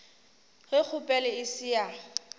ge kgopelo e se ya